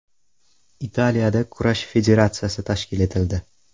Italiyada kurash federatsiyasi tashkil etildi.